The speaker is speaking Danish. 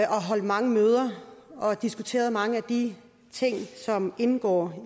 har holdt mange møder og diskuteret mange af de ting som indgår